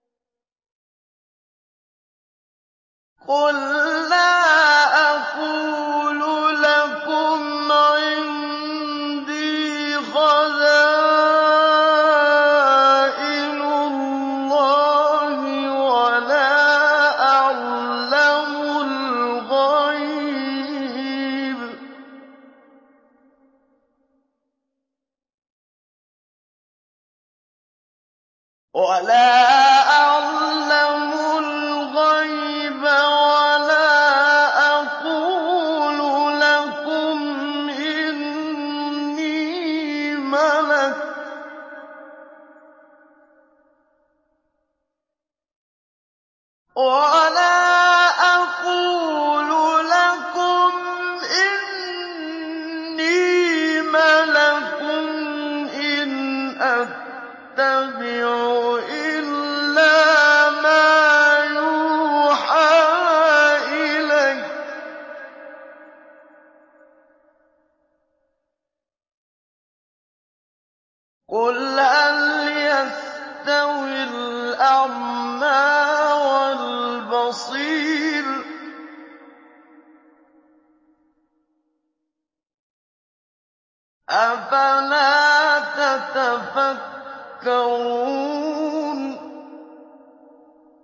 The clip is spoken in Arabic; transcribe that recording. قُل لَّا أَقُولُ لَكُمْ عِندِي خَزَائِنُ اللَّهِ وَلَا أَعْلَمُ الْغَيْبَ وَلَا أَقُولُ لَكُمْ إِنِّي مَلَكٌ ۖ إِنْ أَتَّبِعُ إِلَّا مَا يُوحَىٰ إِلَيَّ ۚ قُلْ هَلْ يَسْتَوِي الْأَعْمَىٰ وَالْبَصِيرُ ۚ أَفَلَا تَتَفَكَّرُونَ